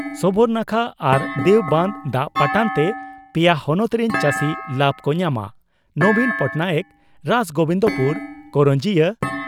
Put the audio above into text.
ᱥᱚᱵᱚᱨᱱᱟᱠᱷᱟ ᱟᱨ ᱫᱮᱣ ᱵᱟᱸᱫᱽ ᱫᱟᱜ ᱯᱟᱴᱟᱱᱛᱮ ᱯᱮᱭᱟ ᱦᱚᱱᱚᱛ ᱨᱤᱱ ᱪᱟᱹᱥᱤ ᱞᱟᱵᱽ ᱠᱚ ᱧᱟᱢᱟ ᱺ ᱱᱚᱵᱤᱱ ᱯᱚᱴᱱᱟᱭᱮᱠ ᱨᱟᱥᱜᱚᱵᱤᱱᱫᱯᱩᱨ/ᱠᱚᱨᱚᱱᱡᱤᱭᱟᱹ